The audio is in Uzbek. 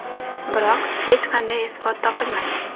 Biroq hech qanday isbot topilmagan.